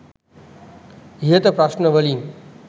ඉහත ප්‍රශ්න වලින්